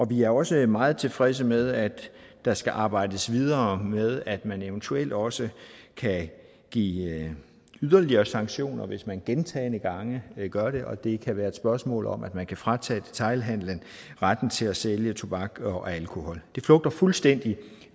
vi er også meget tilfredse med at der skal arbejdes videre med at man eventuelt også kan give yderligere sanktioner hvis man gentagne gange gør det og det kan være et spørgsmål om at man kan fratage detailhandelen retten til at sælge tobak og alkohol det flugter fuldstændig